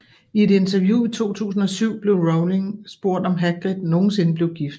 I et interview i 2007 blev Rowling spurgt om Hagrid nogensinde blev gift